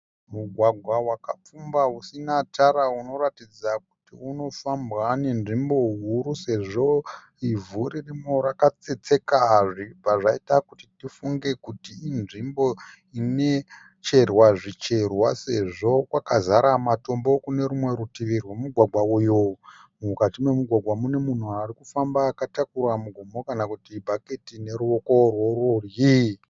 Mugwagwa wakapfumba usina tara unoratidza kuti unofambwa nenzvimbo huru sezvo ivhu ririmo rakatsetseka zvichibva zvaita kuti tifunge kuti inzvimbo inecherwa zvicherwa sezvo kwakazara matombo kune rumwe rutivi rwomugwagwa uyu. Mukati momugwagwa mune munhu arikufamba akatakura mugomo kana kuti bhaketi neruoko rworudyi.